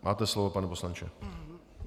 Máte slovo, pane poslanče.